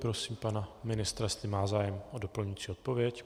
Prosím pana ministra, jestli má zájem o doplňující odpověď.